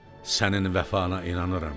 Sənin vəfana inanıram.